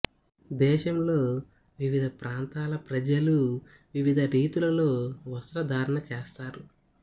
దేశంలో వివిధ ప్రాంతాల ప్రజలు వివిధ రీతులలో వస్త్రధారణ చేస్తారు